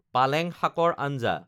পালেং শাকৰ আঞ্জা